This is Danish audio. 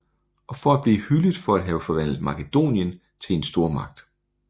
Og for at blive hyldet for at have forvandlet Makedonien til en stormagt